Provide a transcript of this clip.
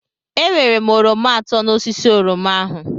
Ewere m oroma atọ n'osisi oroma ahu.